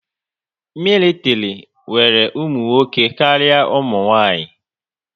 Mịlịtịrị nwere ụmụnwoke karịa umunwaanyị